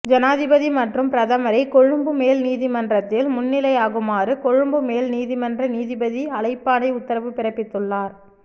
ஜனாதிபதி மற்றும் பிரதமரை கொழும்பு மேல் நீதிமன்றத்தில் முன்னிலையாகுமாறு கொழும்பு மேல் நீதிமன்ற நீதிபதி அழைப்பாணை உத்தரவு பிறப்பித்துள்ளார்